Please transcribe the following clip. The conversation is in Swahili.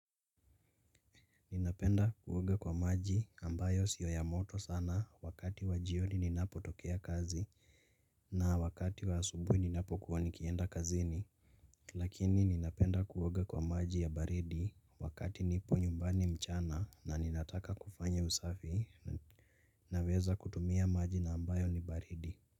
Ninapenda kuoga kwa maji ambayo sio ya moto sana wakati wa jioni ninapotokea kazi na wakati wa asubuhi ninapokuwa nikienda kazini. Lakini ninapenda kuwoga kwa maji ya baridi wakati nipo nyumbani mchana na ninataka kufanya usafi naweza kutumia maji na ambayo ni baridi.